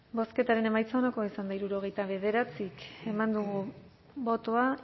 bozketaren emaitza onako izan da hirurogeita bederatzi eman dugu bozka